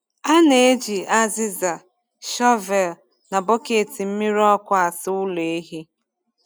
A na-eji azịza, shọvel, na bọket mmiri ọkụ asa ụlọ ehi.